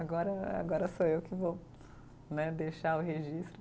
Agora, agora sou eu que vou né, deixar o registro.